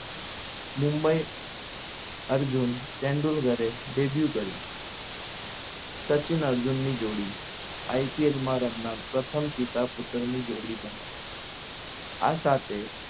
Mumbai Arjun Tendulkar debue કર્યું સચિન અર્જુન ની જોડી IPL માં રમનાર પ્રથમ પિતા પુત્રની જોડી બની આ સાથે